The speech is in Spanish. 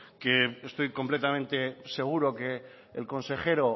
que estoy completamente seguro que el consejero